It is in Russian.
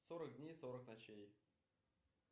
сорок дней сорок ночей